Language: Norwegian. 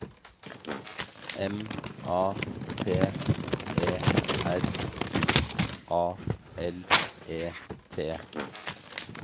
M A T E R I A L E T